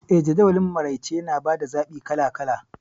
Eh, Jadawalin maraice yana ba da zaɓi kala kala..